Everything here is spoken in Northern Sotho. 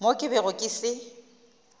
mo ke bego ke se